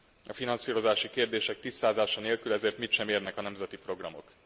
A finanszírozási kérdések tisztázása nélkül ezért mit sem érnek a nemzeti programok.